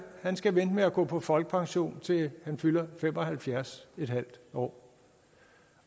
skal vente med at gå på folkepension til han fylder fem og halvfjerds en halv år